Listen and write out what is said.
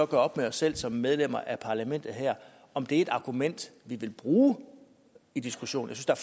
gøre op med os selv som medlemmer af parlamentet her om det er et argument vi vil bruge i diskussionen jeg